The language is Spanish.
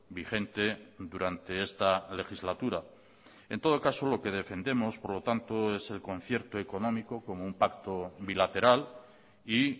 vigente durante esta legislatura en todo caso lo que defendemos por lo tanto es el concierto económico como un pacto bilateral y